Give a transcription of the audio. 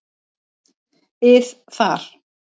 ið þar.